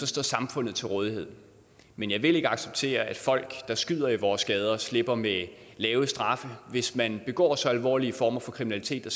står samfundet til rådighed men jeg vil ikke acceptere at folk der skyder i vores gader slipper med lave straffe hvis man begår så alvorlige former for kriminalitet at